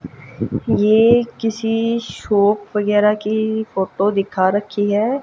ये किसी शॉप वगैरा की फ़ोटो दिखा रखी है।